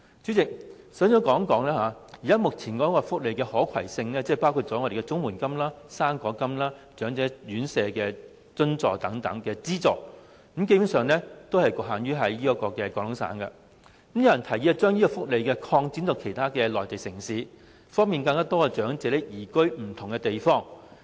主席，首先，我談談目前福利的"可攜性"，包括綜援金、"生果金"、長者院舍津貼等資助，基本上是局限於廣東省，有人提議將這些福利擴展到內地其他城市，方便更多長者移居不同的地方。